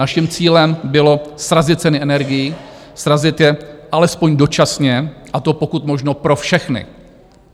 Naším cílem bylo srazit ceny energií, srazit je alespoň dočasně, a to pokud možno pro všechny.